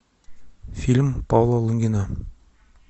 фильм павла лунгина